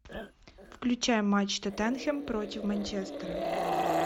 включай матч тоттенхэм против манчестера